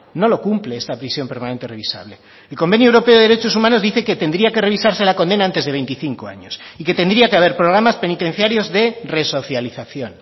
no lo cumple esta prisión permanente revisable el convenio europeo de derechos humanos dice que tendría que revisarse la condena antes de veinticinco años y que tendría que haber programas penitenciarios de resocialización